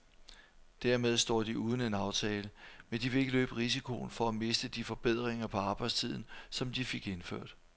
Dermed står de uden en aftale, men de vil ikke løbe risikoen for at miste de forbedringer på arbejdstiden, som de fik indført.